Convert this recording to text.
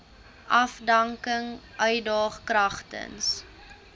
afdanking uitdaag kragtens